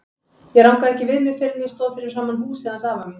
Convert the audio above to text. Ég rankaði ekki við mér fyrr en ég stóð fyrir framan húsið hans afa míns.